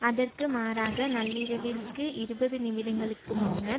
அதற்கு மாறாக நள்ளிரவிற்கு இருபது நிமிடங்களுக்கு முன்னர்